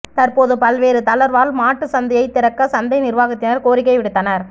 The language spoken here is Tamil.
தற்போது பல்வேறு தளா்வால் மாட்டுச் சந்தையைத் திறக்க சந்தை நிா்வாகத்தினா் கோரிக்கை விடுத்தனா்